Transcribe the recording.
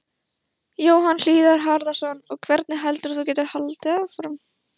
Jóhann Hlíðar Harðarson: Og hvernig heldurðu að þú getir haldið áfram?